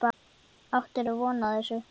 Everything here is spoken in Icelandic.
Áttirðu von á þessu?